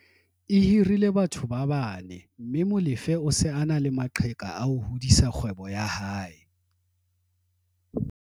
e hirile batho ba bane mme Molefe o se a na le maqheka a ho hodisa kgwebo ya hae.